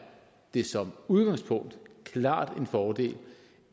det som udgangspunkt klart en fordel